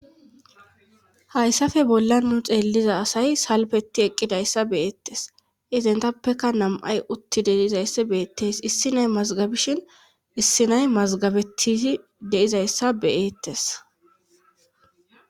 Hayssafe bolla nu xeelliza asay salbeti eqqidayssa beyeettes izentappeka namay utti deizayssi beettes issi nay mazgabishin issi nay mazgabettizi deizayssa beyeettes.